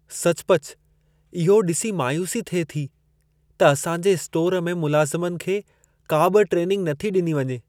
सचुपचु इहो ॾिसी मायूसी थिए थी त असांजे स्टोरु में मुलाज़मनि खे का बि ट्रेनिंग नथी ॾिनी वञे।